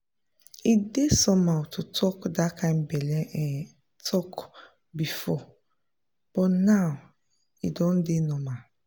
e dey somehow to talk that kind belle um talk before but now e don dey normal.